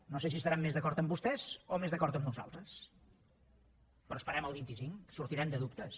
no sé si estaran més d’acord amb vostès o més d’acord amb nosaltres però esperem el vint cinc sortirem de dubtes